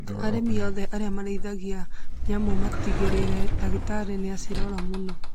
Arĩmi othe arĩa marĩithagia nyamũ magatigĩrĩra dagĩtarĩ nĩ acirora mũno.